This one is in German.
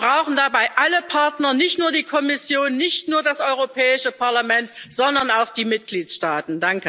Wir brauchen dabei alle Partner, nicht nur die Kommission, nicht nur das Europäische Parlament, sondern auch die Mitgliedstaaten.